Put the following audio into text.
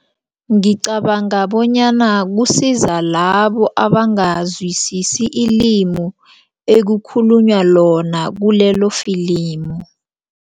Ngicabanga bonyana kusiza labo abangazwisisa ilimu ekukhulunywa lona kulelofilimu.